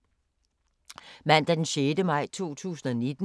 Mandag d. 6. maj 2019